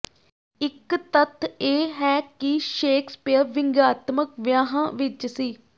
ਇਕ ਤੱਥ ਇਹ ਹੈ ਕਿ ਸ਼ੇਕਸਪੀਅਰ ਵਿਅੰਗਾਤਮਕ ਵਿਆਹਾਂ ਵਿਚ ਸੀ